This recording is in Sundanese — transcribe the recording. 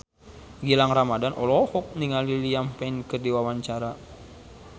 Gilang Ramadan olohok ningali Liam Payne keur diwawancara